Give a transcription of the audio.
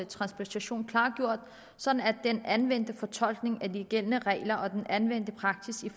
transplantation klargjort sådan at den anvendte fortolkning af de gældende regler og den anvendte praksis i